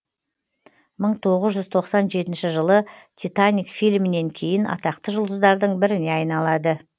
мың тоғыз жүз тоқсан жетінші жылы титаник фильмінен кейін атақты жұлдыздардың біріне айналады